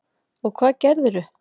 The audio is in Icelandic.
Og hvað gerðirðu?